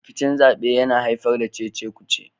Rikicin zaɓe yana haifar da cece-kuce